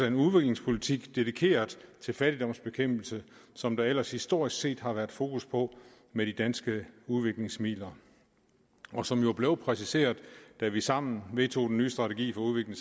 en udviklingspolitik dedikeret til fattigdomsbekæmpelse som der ellers historisk set har været fokus på med de danske udviklingsmidler og som jo blev præciseret da vi sammen vedtog den nye strategi